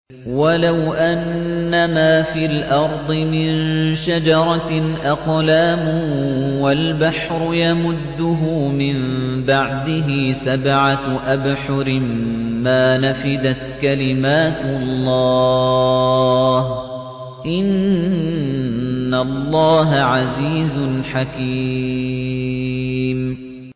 وَلَوْ أَنَّمَا فِي الْأَرْضِ مِن شَجَرَةٍ أَقْلَامٌ وَالْبَحْرُ يَمُدُّهُ مِن بَعْدِهِ سَبْعَةُ أَبْحُرٍ مَّا نَفِدَتْ كَلِمَاتُ اللَّهِ ۗ إِنَّ اللَّهَ عَزِيزٌ حَكِيمٌ